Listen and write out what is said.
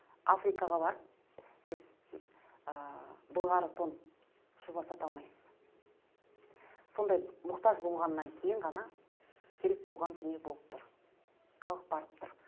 африкаға барып сіз ы былғары тон шуба сата алмайсыз сондай мұқтаж болғаннан кейін ғана керек болған дүние болып тұр халық барып тұр